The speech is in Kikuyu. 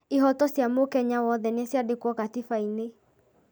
Ihoto cia mũkenya wothe nĩ ciandĩkĩtwo katiba-inĩ